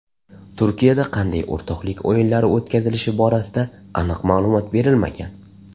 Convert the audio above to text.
Turkiyada qanday o‘rtoqlik o‘yinlari o‘tkazilishi borasida aniq ma’lumot berilmagan.